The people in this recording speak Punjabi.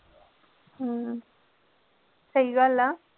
ਹਮ ਸਹੀ ਗੱਲ ਆ।